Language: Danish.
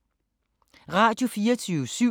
Radio24syv